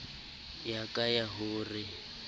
ya ka ya ho re